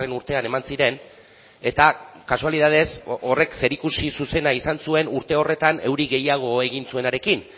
urtean eman ziren eta kasualitatez horrek zerikusi zuzena izan zuen urte horretan euri gehiago egin zuenarekin